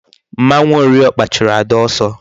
Mmanwu ori okpa churu Ada oso